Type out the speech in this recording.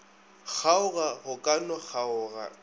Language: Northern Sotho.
kgaoga go ka no kgaoga